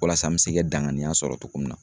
Walasa n bɛ se ka daŋaniya sɔrɔ togo min na